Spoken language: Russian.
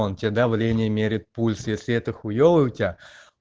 он тебе давление мерит пульс если это хуевый у тебя